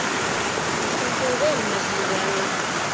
Þú stendur þig vel, Messíana!